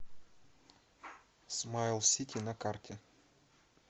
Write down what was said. смайлсити на карте